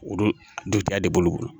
Olu dun ta de bolo